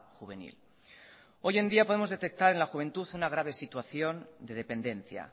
juvenil hoy en día podemos detectar en la juventud una grave situación de dependencia